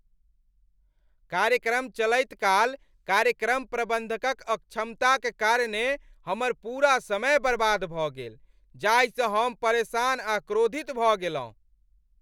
कार्यक्रम चलैत काल कार्यक्रम प्रबन्धकक अक्षमताक कारणेँ हमर पूरा समय बर्बाद भऽ गेल जाहिसँ हम परेशान आ क्रोधित भऽ गेलहुँ।